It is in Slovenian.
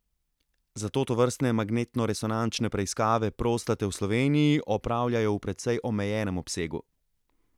Zato tovrstne magnetnoresonančne preiskave prostate v Sloveniji opravljajo v precej omejenem obsegu.